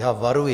Já varuji.